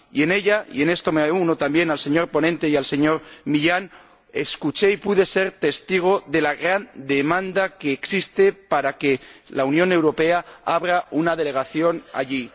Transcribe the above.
Y, en ella —y en esto me uno también al señor ponente y al señor Millán Mon—, percibí y fui testigo de la gran demanda que existe para que la Unión Europea abra una delegación allí.